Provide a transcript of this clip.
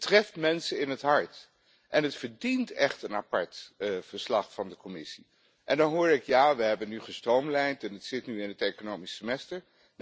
Het treft mensen in het hart en het verdient echt een apart verslag van de Commissie. En dan hoor ik 'Ja, we hebben nu gestroomlijnd en het zit nu in het economisch semester'.